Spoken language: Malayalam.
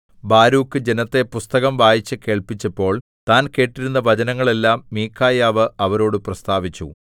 ബാരൂക്ക് ജനത്തെ പുസ്തകം വായിച്ചുകേൾപ്പിച്ചപ്പോൾ താൻ കേട്ടിരുന്ന വചനങ്ങളെല്ലാം മീഖായാവ് അവരോടു പ്രസ്താവിച്ചു